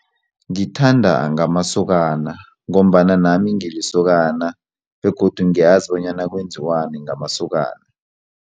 Ngithanda ngamasokana ngombana nami ngilisokana begodu ngiyazi bonyana kwenziwani ngamasokana.